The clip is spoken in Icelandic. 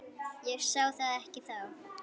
Ég sá það ekki þá.